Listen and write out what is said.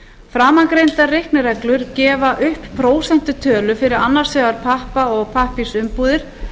framangreindar reiknireglur gefa upp prósentutölu fyrir annars vegar pappa og pappírsumbúðir